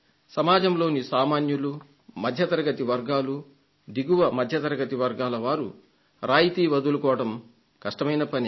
సమాజంలోని సామాన్యులు మధ్యతరగతి వర్గాలు దిగువ మధ్యతరగతి వర్గాల వారు రాయితీని వదులుకోవడం కష్టమైన పనే